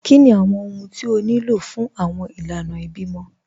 Kíni awọn ọhun tí ó ní lọ fun awọn ilànà ìbímọ?